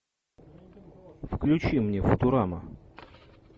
включи мне футурама